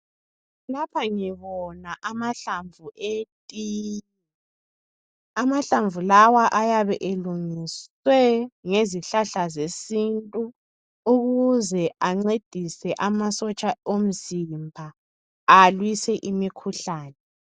Lapha ngibona amahlamvu eti. Amahlamvu lawa ayabe elungiswe ngezihlahla zesintu ukuze ancedise amasotsha omzimba alwise imikhuhlane.